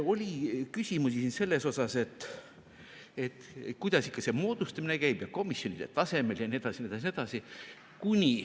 Oli küsimusi ka selle kohta, kuidas ikka see moodustamine käib ja komisjonide tasemel jne, jne.